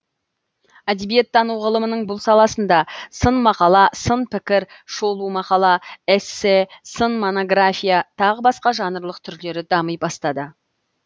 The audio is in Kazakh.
әдебиеттану ғылымының бұл саласында сын мақала сын пікір шолу мақала эссе сын монография тағы басқа жанрлық түрлері дами бастады